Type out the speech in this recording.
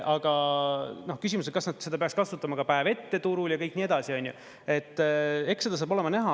Aga küsimus, et kas nad seda peaks kasutama ka päev ette turul ja kõik nii edasi, onju, et eks seda saab olema näha.